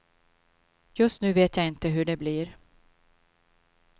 Just nu vet jag inte hur det blir.